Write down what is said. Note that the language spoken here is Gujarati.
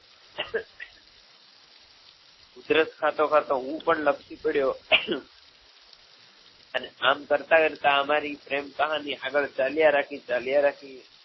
ઉધરસ ખાતો ખાતો હું પણ લપસી પડ્યો અને આમ કરતાં કરતાં અમારી પ્રેમ કહાની આગળ ચાલ્યા રાખી ચાલ્યા રાખી